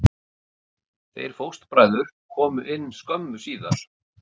Þeir fóstbræður komu inn skömmu síðar.